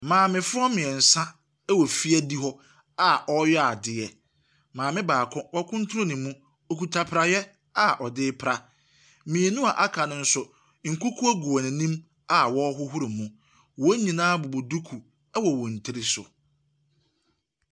Maamefoɔ mmiɛnsa wɔ fie adi hɔ a wɔreyɛ adeɛ. Maame baako, watunu ne mu. Okita praeɛ a ɔde repra. Mmienu a aka no nso, nkukuo gu wɔn anima wɔrehohro mu. Wɔn nyinaa bobɔ duku wɔ wɔn tiri so.